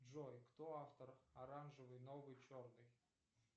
джой кто автор оранжевый новый черный